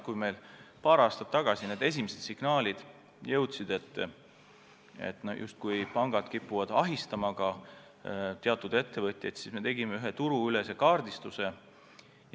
Kui meieni paar aastat tagasi jõudsid esimesed signaalid, et pangad justkui kipuvad teatud ettevõtjaid ahistama, siis me tegime ühe turuülese kaardistuse.